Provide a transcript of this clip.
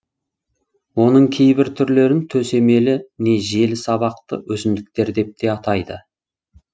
оның кейбір түрлерін төсемелі не желі сабақты өсімдіктер деп те атайды